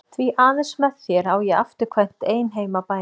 Því aðeins með þér á ég afturkvæmt ein heim að bænum.